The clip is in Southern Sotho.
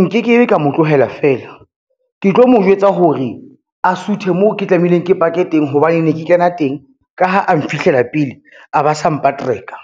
Nke ke be ka mo tlohela fela, ke tlo mo jwetsa hore a suthe moo ke tlameileng ke pake teng hobane ne ke kena teng, ka ha a mphihlela pele a ba sa mpaterka,